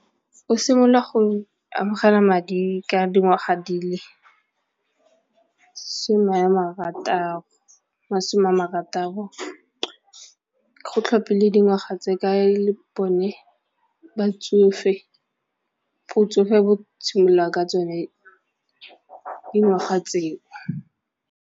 O simolola go amogela madi ka dingwaga di le seme a marataro, masome a marataro go tlhophilwe dingwaga tse ka e le bone batsofe, botsofe bo simolola ka tsone dingwaga tseo.